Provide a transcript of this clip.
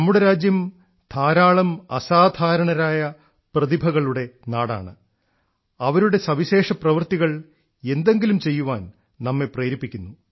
നമ്മുടെ രാജ്യം ധാരാളം അസാധാരണരായ പ്രതിഭകളുടെ നാടാണ് അവരുടെ സവിശേഷപ്രവർത്തികൾ എന്തെങ്കിലും ചെയ്യാൻ നമ്മെ പ്രേരിപ്പിക്കുന്നു